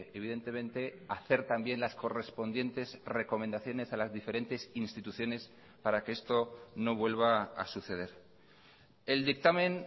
evidentemente hacer también las correspondientes recomendaciones a las diferentes instituciones para que esto no vuelva a suceder el dictamen